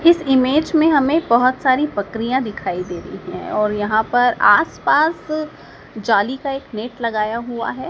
इस इमेज मे हमें बहोत सारी बकरियां दिखाई दे रही है और यहां पर आस पास जाली का एक नेट लगाया हुआ है।